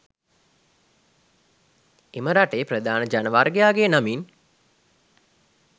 එම රටේ ප්‍රධාන ජනවර්ගයාගේ නමින්